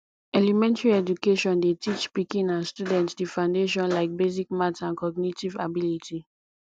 elementary education dey teach pikin and student di foundation like basic math and cognitive ability